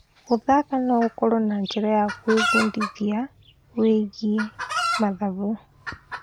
Gũthaka no gũkorwo njĩra ya gwĩbundithia wĩgiĩ mathabu.